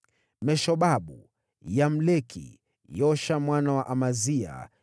Meshobabu, Yamleki, Yosha mwana wa Amazia,